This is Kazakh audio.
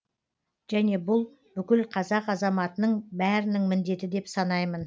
және бұл бүкіл қазақ азаматының бәрінің міндеті деп санаймын